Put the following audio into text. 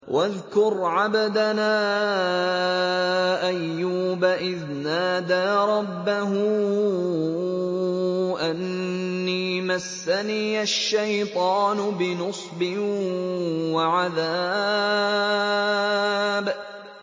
وَاذْكُرْ عَبْدَنَا أَيُّوبَ إِذْ نَادَىٰ رَبَّهُ أَنِّي مَسَّنِيَ الشَّيْطَانُ بِنُصْبٍ وَعَذَابٍ